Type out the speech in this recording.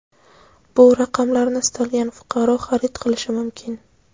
bu raqamlarni istalgan fuqaro xarid qilishi mumkin.